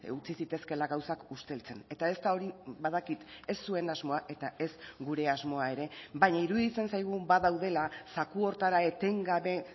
utzi zitezkeela gauzak usteltzen eta ez da hori badakit ez zuen asmoa eta ez gure asmoa ere baina iruditzen zaigu badaudela zaku horretara etengabe